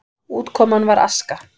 Útkoman var aska.